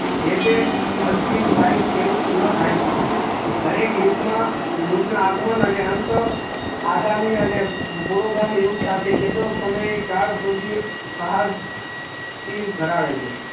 જે તે વર્ષી સાહિત્ય એવું ના દાયી સકાય દરેક યુગ મા યુગ ના આગમન અને અંત અગામી અને પુરુગામી યુગ સાથે કેલો સમય કાળ સુધી સાહસ ધરાવે છે